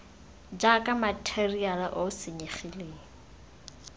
jaaka matheriale o o senyegileng